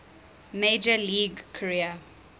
major league career